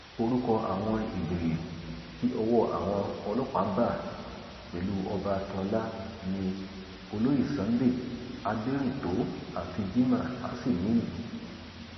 orúkọ àwọn ìjòyè tí ọwọ àwọn ọlọpàá bá pẹlú ọba akínọlá ni olóyè sunday aderintó àti jimoh asimiy